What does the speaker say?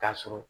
Taa sɔrɔ